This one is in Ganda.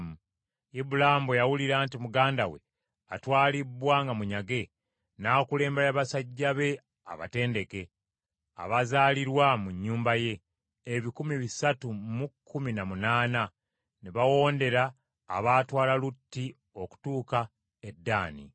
Ibulaamu bwe yawulira nti muganda we atwalibbwa nga munyage, n’akulembera basajja be abatendeke, abazaalirwa mu nnyumba ye, ebikumi bisatu mu kkumi na munaana, ne bawondera abaatwala Lutti okutuuka e Ddaani.